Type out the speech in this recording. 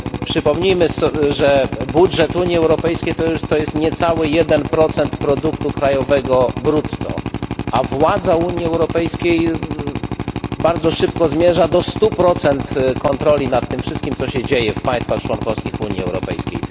Przypomnijmy, że budżet Unii Europejskiej to jest niecały 1 produktu krajowego brutto UE, a władza Unii Europejskiej bardzo szybko zmierza do 100 kontroli nad tym wszystkim, co się dzieje w państwach członkowskich Unii Europejskiej.